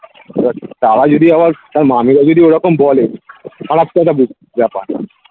এবার তারা যদি আবার তার মামীরা যদি ঐরকম বলে ব্যাপার